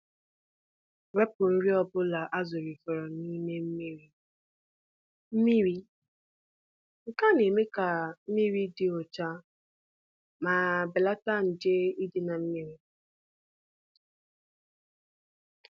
A ghaghị iwepụ nri ndị a na-erighị eri iji nọgide na-enwe mmiri dị ọcha ma gbochie ịmalite amonia.